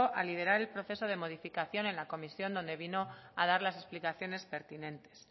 a liderar el proceso de modificación en la comisión donde vino a dar las explicaciones pertinentes